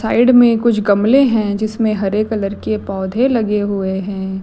Side में कुछ गमले हैं जिसमें हरे कलर के पौधे लगे हुए हैं।